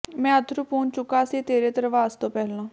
ਮੈਂ ਅੱਥਰੂ ਪੂੰਝ ਚੁੱਕਾ ਸੀ ਤੇਰੇ ਧਰਵਾਸ ਤੋਂ ਪਹਿਲਾਂ